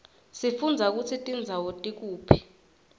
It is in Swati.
sifundza kutsi tindzawo tikuphi